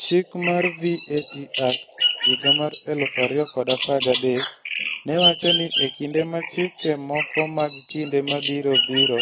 Chik moro mar VAT Act, 2013 ne wacho ni e kinde ma chike moko mag kinde mabiro biro,